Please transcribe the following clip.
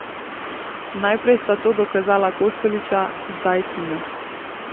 Najprej sta to dokazala Kostelića, zdaj Tina.